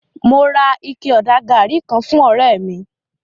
Mo ra ike-ọ̀dà gàrí kan fún ọ̀rẹ́ mi